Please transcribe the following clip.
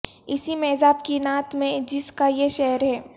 اسی میزاب کی نعت ہے جس کا یہ شعر ہے